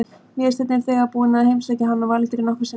Vésteinn er þegar búinn að heimsækja hann og Valgerði nokkrum sinnum.